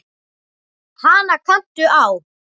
Hana kanntu á.